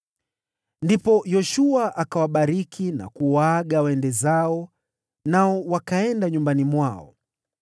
Ndipo Yoshua akawabariki na kuwaaga waende zao, nao wakaenda nyumbani mwao.